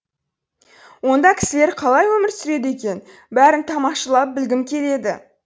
онда кісілер қалай өмір сүреді екен бәрін тамашалап білгім келеді